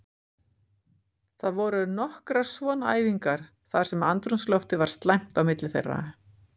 Það voru nokkrar svona æfingar þar sem andrúmsloftið var slæmt á milli þeirra.